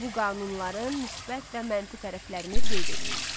Bu qanunların müsbət və mənfi tərəflərini qeyd eləyin.